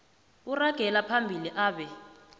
uragela phambili abe